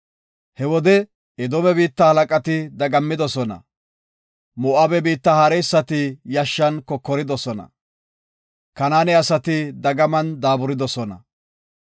He wode Edoome biitta halaqati dagammidosona; Moo7abe biitta haareysati yashshan kokoridosona; Kanaane asati dagaman daaburidosona.